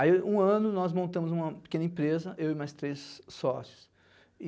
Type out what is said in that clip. Aí, um ano, nós montamos uma pequena empresa, eu e mais três sócios.